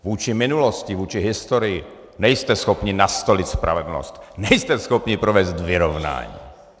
Vůči minulosti, vůči historii nejste schopni nastolit spravedlnost, nejste schopni provést vyrovnání.